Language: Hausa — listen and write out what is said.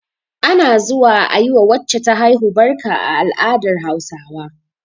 Ana zuwa a yi wa wacce ta haihu barka a al'adar Hausawa